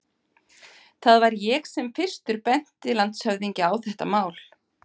Það var ég sem fyrstur benti landshöfðingja á þetta mál.